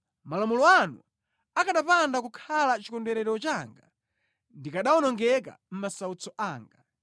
Malamulo anu akanapanda kukhala chikondwerero changa, ndikanawonongeka mʼmasautso anga.